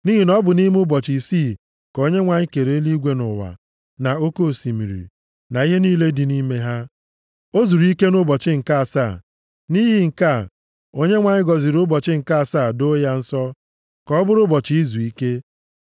Nʼihi na ọ bụ nʼime ụbọchị isii ka Onyenwe anyị kere eluigwe na ụwa, na oke osimiri, na ihe niile dị nʼime ha. O zuru ike nʼụbọchị nke asaa. Nʼihi nke a Onyenwe anyị gọziri ụbọchị nke asaa doo ya nsọ, ka ọ bụrụ ụbọchị izuike.